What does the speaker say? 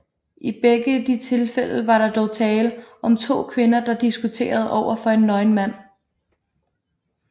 I begge de tilfælde var der dog tale om to kvinder der diskuterede overfor en nøgen mand